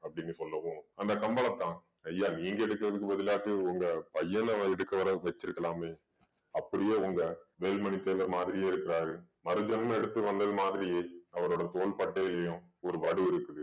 அப்படின்னு சொல்லவும் அந்த கம்பளத்தான் ஐயா நீங்க எடுக்குறதுக்கு பதிலாட்டு உங்க பையன எடுக்க வர வச்சிருக்கலாமே அப்படியே உங்க வேலுமணி தேவர் மாதிரியே இருக்குறாரு மருஜென்மம் எடுத்து வந்தது மாதிரியே அவரோட தோள்பட்டையிலயும் ஒரு வடு இருக்குது